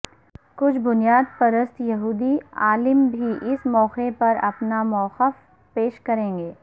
کچھ بنیاد پرست یہودی عالم بھی اس موقع پر اپنا موقف پیش کریں گے